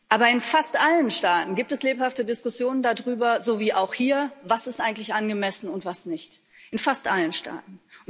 Aber in fast allen Staaten gibt es lebhafte Diskussionen darüber so wie auch hier was eigentlich angemessen ist und was nicht in fast allen Staaten.